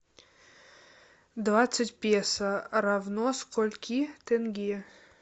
двадцать песо равно скольки тенге